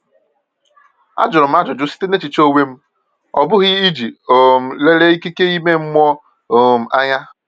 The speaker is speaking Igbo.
A jụrụ m ajụjụ site n’echiche onwe m, ọ bụghị iji um lelia ikike ime mmụọ um anya.